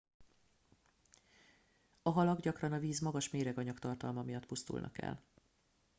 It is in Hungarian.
a halak gyakran a víz magas méreganyag tartalma miatt pusztulnak el